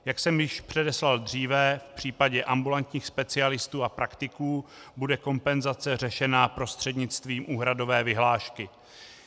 Jak jsem již předeslal dříve, v případě ambulantních specialistů a praktiků bude kompenzace řešena prostřednictvím úhradové vyhlášky.